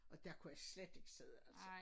Og dér kunne jeg slet ikke sidde altså